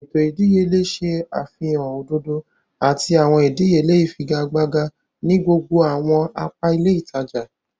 Eto ìdíyelé ṣe àfihàn òdodo àti awọn ìdíyelé ifigagbaga ni gbogbo awọn apa ilé ìtàjà.